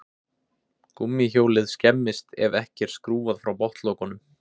Gúmmíhjólið skemmist ef ekki er skrúfað frá botnlokunum.